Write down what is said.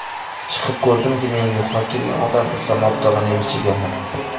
Chiqib ko‘rdimki, meni yo‘qlab kelgan odam Islom Abdug‘aniyevich ekanlar.